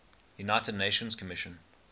united nations commission